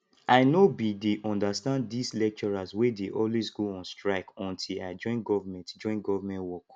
i no bin dey understand dis lecturers wey dey always go on strike until i join government join government work